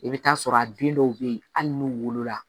I bɛ t'a sɔrɔ a den dɔw bɛ yen hali n'u wolola